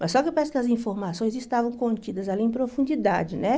Mas só que parece que as informações estavam contidas ali em profundidade, né?